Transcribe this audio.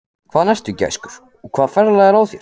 Hvaðan ertu, gæskur, og hvaða ferðalag er á þér?